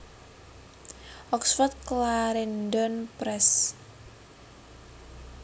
Oxford Clarendon Press